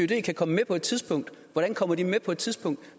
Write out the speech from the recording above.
kan komme med på et tidspunkt hvordan kommer de med på et tidspunkt